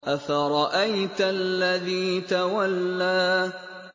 أَفَرَأَيْتَ الَّذِي تَوَلَّىٰ